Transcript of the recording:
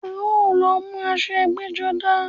A ó lọ mú aṣọ ẹgbẹ́-jọdá.